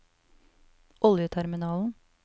oljeterminalen